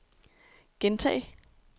gentag